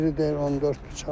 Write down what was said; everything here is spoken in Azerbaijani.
Biri deyir 14 bıçaq.